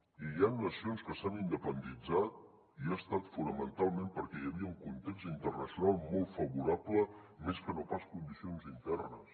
i hi han nacions que s’han independitzat i ha estat fonamentalment perquè hi havia un context internacional molt favorable més que no pas condicions internes